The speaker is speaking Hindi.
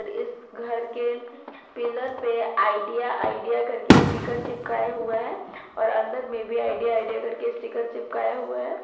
इस घर के पिलर पे आइडिया आइडिया करके स्टीकर चिपकाए हुआ है और अंदर में भी आइडिया आइडिया करके स्टीकर चिपकाए हुआ है।